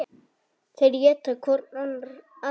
Þeir éta hvorn annan.